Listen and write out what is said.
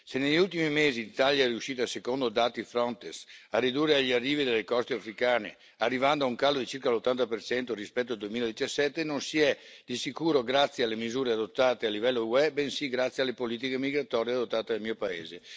Se negli ultimi mesi l'Italia è riuscita, secondo dati Frontex, a ridurre gli arrivi dalle coste africane, arrivando a un calo di circa l'80 rispetto al 2017, ciò non è avvenuto di sicuro grazie alle misure adottate a livello UE, bensì grazie alle politiche migratorie adottate nel mio paese.